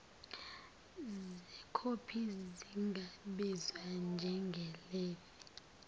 zekhophi zingabizwa njengelevi